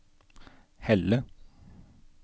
Helle